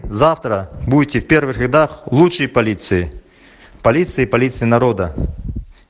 завтра будете в первых рядах лучшей полиции полиции полиция народа